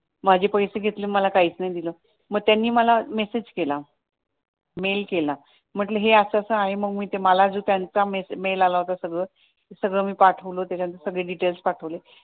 माझे पैसे घेतले आणि मला काहीच नाही दिल, मग त्यांनी मला मेसेज केला मेल केला म्हटलं हे असं असं आहे मग मला जो त्यांचा मेल आला होता ते सगळं मी पाठवलं ते डिटेल्स पाठवले